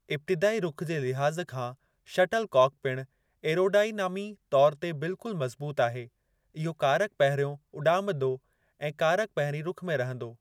इब्तिदाई रुख़ जे लिहाज़ खां शटल काक पिणु एरोडाईनामी तौर ते बिल्कुल मज़बूत आहे , इहो कारक-पहिरियों उॾामंदो ऐं कारक-पहिरीं रुख़ में रहंदो।